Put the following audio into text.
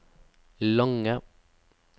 lange